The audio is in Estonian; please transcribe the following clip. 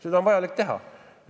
Seda on vaja teha.